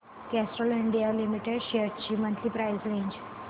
Castrol India Limited shares ची monthly price range